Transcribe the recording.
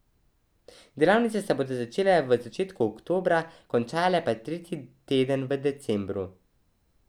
Delavnice se bodo začele v začetku oktobra, končale pa tretji teden v decembru.